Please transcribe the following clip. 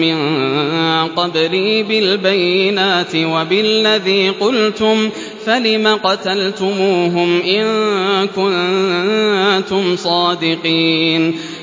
مِّن قَبْلِي بِالْبَيِّنَاتِ وَبِالَّذِي قُلْتُمْ فَلِمَ قَتَلْتُمُوهُمْ إِن كُنتُمْ صَادِقِينَ